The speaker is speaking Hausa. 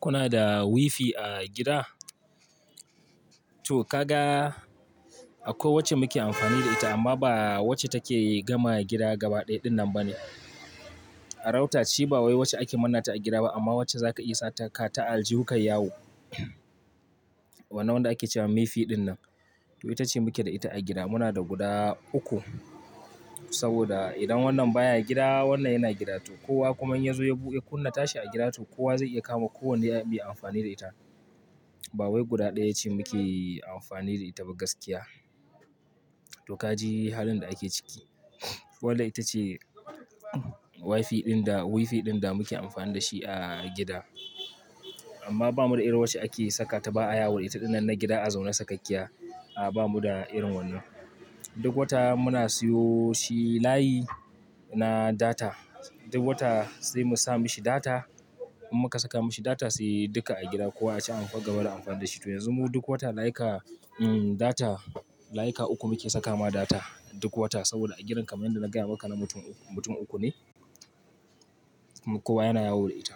Kuna da wifi a gida? To ka ga, a ko wacce muke amfani da ita amma ba wacce take gama gida gaba ɗaya dinnan ba ne. A router ce ba wai wacce ake manna ta a gida ba amma wacce zaka iya saka ta aljihu kayi yawo. Wannan wanda ake cewa mifi dinnan. To ita ce muke da ita a gida. Muna da guda uku saboda idan wannan baya gida, wannan yana gida. To kowa kuma in ya zo ya kunna tashi a gidato, kowa zai iya kama ko wanne ya bi amfani da ita. Ba wai guda ɗaya ce muke amfani da ita ba gaskiya. To ka ji halin da ake ciki. Wadda ita ce wifi ɗin da, wifi ɗin da muke amfani da shi a gida amma bamu da irin wacce ake saka ta ba a yawoda ita dinnan na gida a zaune sakakkiya. A, ba mu da irin wannan. Duk wata muna siyo shi layi na data. Duk wata sai mu sa mishi data. In muka saka mishi data sai duka a gida kowa ya ci amfani, gaba da amfani da shi. To yanzu mu duk wata layika, um, data layika uku muke saka ma data duk wata saboda a gidan kamar yadda na gaya maka na mutum uku, mutum uku ne. Kowa yana yawo da ita.